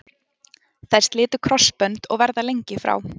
Þær slitu krossbönd og verða lengi frá.